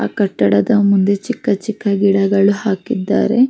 ಆ ಕಟ್ಟಡ ಮುಂದೆ ಚಿಕ್ಕ ಚಿಕ್ಕ ಗಿಡಗಳು ಹಾಕಿದ್ದಾರೆ --